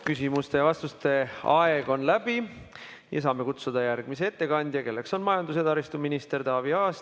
Küsimuste ja vastuste aeg on läbi ja me saame kutsuda järgmise ettekandja, kelleks on majandus- ja taristuminister Taavi Aas.